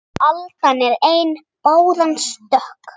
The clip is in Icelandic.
Aldan er ein báran stök